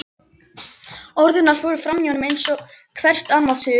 Orð hennar fóru framhjá honum eins og hvert annað suð.